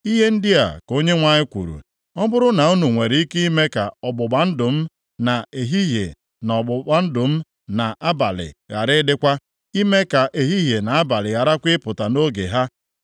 “Ihe ndị a ka Onyenwe anyị kwuru, ‘Ọ bụrụ na unu nwere ike ime ka ọgbụgba ndụ m na ehihie, na ọgbụgba ndụ mụ na abalị ghara ịdịkwa, ime ka ehihie na abalị gharakwa ịpụta nʼoge ha,